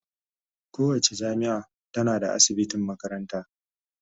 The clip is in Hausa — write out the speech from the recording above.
Kowace jami'a tana da asibitin makaranta.